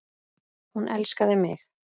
Hún elskaði mig.